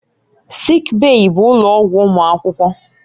Sịịk bèyí bụ ụlọ ọgwụ ụmụ akwụkwọ.